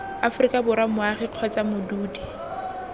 aforika borwa moagi kgotsa modudi